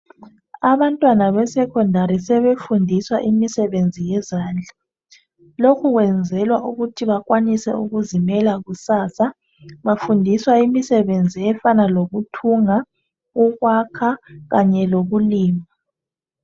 Abantwana beSecondary sebefundiswa imisebenzi yezandla. Lokhu kwenzelwa ukuthi bakwanise ukuzimela kusasa. Bafundiswa imisebenzi efana lokuthunga, ukwakha kanye lokulima.